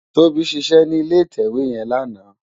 Tobi ṣiṣè ni ilé itèwé yèn làná